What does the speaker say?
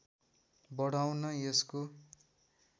बढाउन यसको